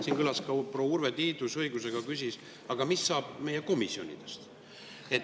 Siin kõlas ka proua Urve Tiiduse õigusega küsimus, aga mis saab meie komisjonidest.